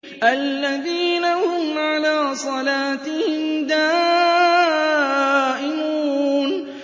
الَّذِينَ هُمْ عَلَىٰ صَلَاتِهِمْ دَائِمُونَ